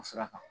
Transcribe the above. O sira kan